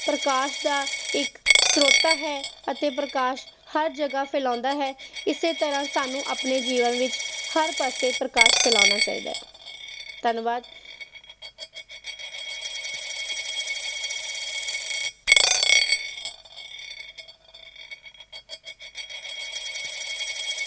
ਪ੍ਰਕਾਸ਼ ਦਾ ਇੱਕ ਸਰੋਤਾ ਹੈ ਅਤੇ ਪ੍ਰਕਾਸ਼ ਹਰ ਜੱਗ ਫੈਲਾਉਂਦਾ ਹੈ ਇਸੇ ਤਰ੍ਹਾਂ ਸਾਨੂੰ ਆਪਣੇ ਜੀਵਨ ਵਿਚ ਹਰ ਪਾਸੇ ਪ੍ਰਕਾਸ਼ ਫੈਲਾਉਣਾ ਚਾਹੀਦਾ ਹੈ ਧੰਨਵਾਦ